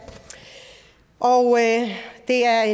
og det er